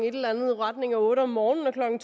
otte om morgenen og klokken